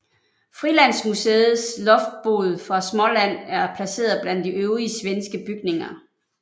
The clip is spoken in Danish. Frilandsmuseets Loftbod fra Småland er placeret blandt de øvrige svenske bygninger